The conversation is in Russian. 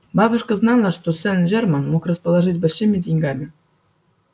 бабушка знала что сен-жермен мог расположить большими деньгами